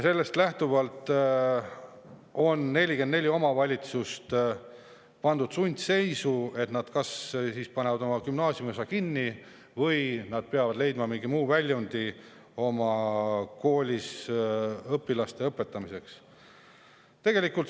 44 omavalitsust on pandud sundseisu: nad kas panevad oma gümnaasiumiosa kinni või peavad leidma mingi muu väljundi oma koolis õpilaste õpetamiseks.